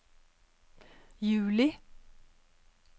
juli